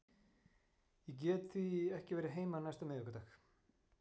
Ég get því ekki verið heima næsta miðvikudagskvöld.